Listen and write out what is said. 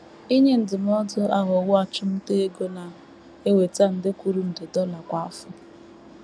“ Inye ndụmọdụ ” aghọwo achụmnta ego na - eweta nde kwuru nde dollar kwa afọ.